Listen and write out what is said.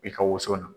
I ka woso na